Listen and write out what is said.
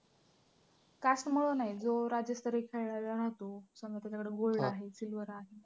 cast मुळं नाही जो राज्यस्तरीय खेळायला जातो, समजा त्याच्याकडे gold आहे silver आहे.